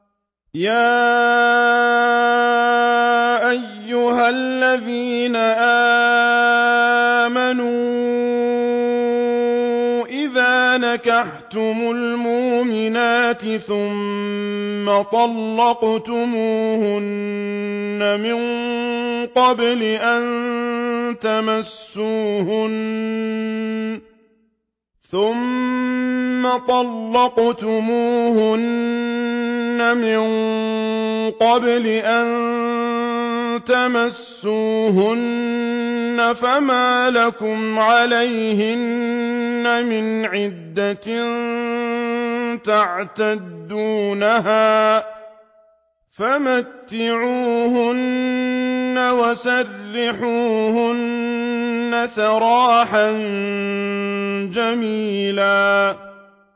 يَا أَيُّهَا الَّذِينَ آمَنُوا إِذَا نَكَحْتُمُ الْمُؤْمِنَاتِ ثُمَّ طَلَّقْتُمُوهُنَّ مِن قَبْلِ أَن تَمَسُّوهُنَّ فَمَا لَكُمْ عَلَيْهِنَّ مِنْ عِدَّةٍ تَعْتَدُّونَهَا ۖ فَمَتِّعُوهُنَّ وَسَرِّحُوهُنَّ سَرَاحًا جَمِيلًا